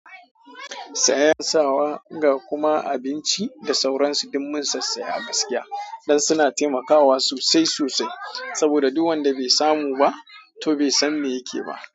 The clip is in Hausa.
Sayen sawa ga kuma abinci da sauransu dum mun sassaya gaskiya don suna taimakawa sosai sosai saboda duk wanda bai samu ba, to bai san me yake ba.